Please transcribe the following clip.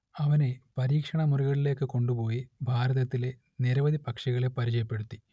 അവനെ പരീക്ഷണമുറികളിലേക്കു കൊണ്ടുപോയി ഭാരതത്തിലെ നിരവധി പക്ഷികളെ പരിചയപ്പെടുത്തി